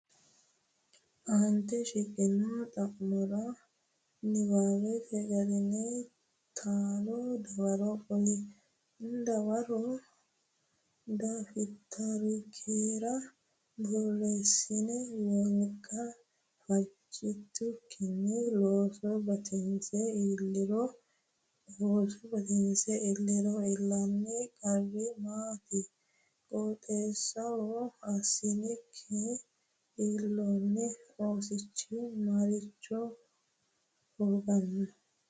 Aante shiqqino xa’mora niwaawete garinni taalo dawaro qoli. Dawarono, dafitarikkira borreessi Wolqa fajjitukkinni ooso batinse illiro iillanno qarri maati? Qixxaawo assinikki illoonni oosichi maricho hooganno?